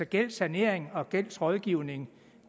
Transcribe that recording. gældssanering og gældsrådgivning